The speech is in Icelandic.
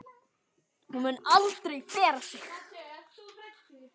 Hún mun aldrei bera sig.